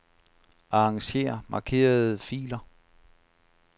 Arranger markerede filer.